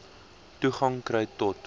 toegang kry tot